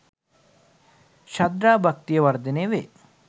ශ්‍රද්ධා භක්තිය වර්ධනය වේ.